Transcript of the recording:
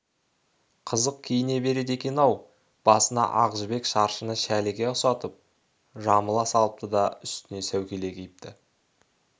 қызық киіне береді екен-ау басына ақ жібек шаршыны шәліге ұсатып жамыла салыпты да үстінен сәукеле киіпті